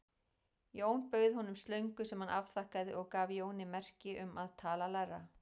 Jón bauð honum slöngu sem hann afþakkaði og gaf Jóni merki um að tala lægra.